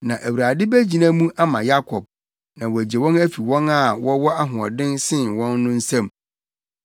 Na Awurade begyina mu ama Yakob na wagye wɔn afi wɔn a wɔwɔ ahoɔden sen wɔn no nsam.